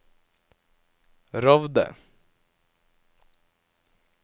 Rovde